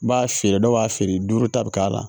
N b'a feere dɔw b'a feere duuru ta bɛ k'a la